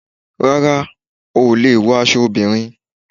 Rárá o ò lè wọ aṣọ obìnrin